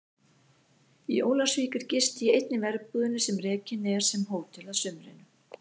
Í Ólafsvík er gist í einni verbúðinni sem rekin er sem hótel að sumrinu.